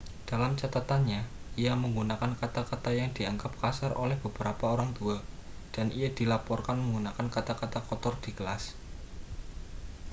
dalam catatannya ia menggunakan kata-kata yang dianggap kasar oleh beberapa orang tua dan ia dilaporkan menggunakan kata-kata kotor di kelas